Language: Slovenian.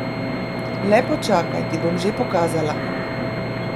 Le počakaj, ti bom že pokazala!